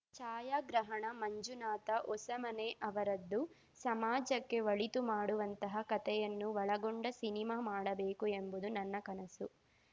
ಛಾಯಾಗ್ರಹಣ ಮಂಜುನಾಥ ಹೊಸಮನೆ ಅವರದ್ದು ಸಮಾಜಕ್ಕೆ ಒಳಿತು ಮಾಡುವಂತಹ ಕತೆಯನ್ನು ಒಳಗೊಂಡ ಸಿನಿಮಾ ಮಾಡಬೇಕು ಎಂಬುದು ನನ್ನ ಕನಸು